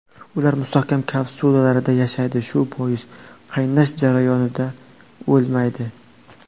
Ular mustahkam kapsulalarda yashaydi, shu bois qaynash jarayonida o‘lmaydi.